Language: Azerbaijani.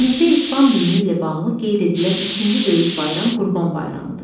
Ölkəmizdə İslam dini ilə bağlı qeyd edilən ikinci böyük bayram Qurban bayramıdır.